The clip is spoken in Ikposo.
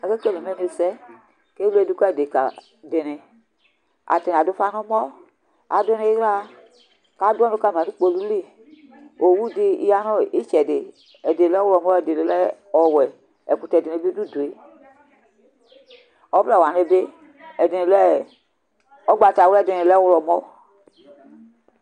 ake kele imenu sɛ k'ewle do ka adeka dini atani ado ufa n'ɔmɔ ado n'ila k'ado ɔnu kama no kpolu li owu di ya no itsɛdi ɛdi lɛ ɔwlɔmɔ ɛdi lɛ ɔwɛ ɛkotɛ dini bi do udue ɔvlɛ wani bi ɛdini lɛ ugbatawla ɛdini lɛ ɔwlɔmɔ